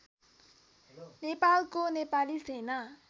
नेपालको नेपाली सेना